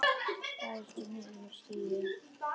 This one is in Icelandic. Það er stunið við stýrið.